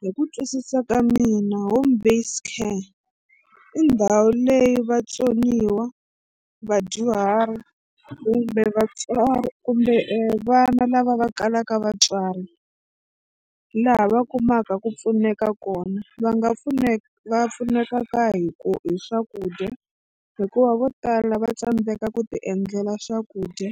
Hi ku twisisa ka mina home based care i ndhawu leyi vatsoniwa, vadyuhari kumbe vatswari kumbe e vana lava va kalaka vatswari laha va kumaka ku pfuneka kona va nga pfuneka va pfunekaka hi ku hi swakudya hikuva vo tala va tsandzeka ku tiendlela swakudya